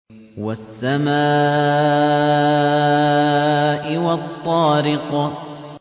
وَالسَّمَاءِ وَالطَّارِقِ